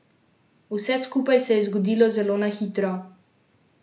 Vse skupaj se je zgodilo zelo na hitro.